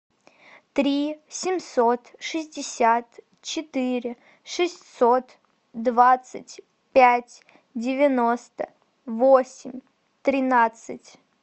три семьсот шестьдесят четыре шестьсот двадцать пять девяносто восемь тринадцать